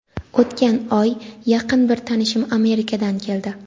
o‘tgan oy yaqin bir tanishim Amerikadan keldi.